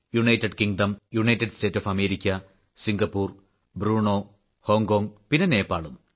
United Kingdom United States of America Singapore Brunei Hong Kong പിന്നെ നേപ്പാളും